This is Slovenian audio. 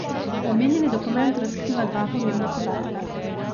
Omenjeni dokument razkriva dva pomembna podatka.